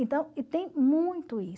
Então, e tem muito isso.